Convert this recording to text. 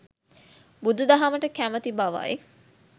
බුදුදහමට කැමැති බවයි.